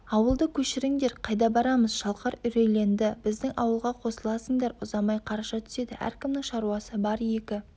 ауылды көшіріңдер қайда барамыз шалқар үрейленді біздің ауылға қосыласыңдар ұзамай қараша түседі әркімнің шаруасы бар екі